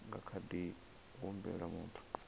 nga kha ḓi humbela muthu